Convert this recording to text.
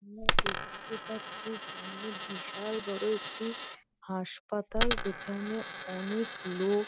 আমরা দেখতে পাচ্ছি সামনে বিশাল বড় একটি হাসপাতাল যেখানে অনেক লো--